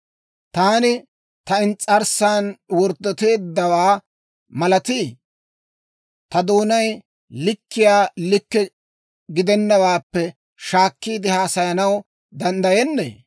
Taani ta ins's'arssan worddoteeddawaa malatii? Ta doonay likkiyaa likke gidenawaappe shaakkiide haasayanaw danddayennee?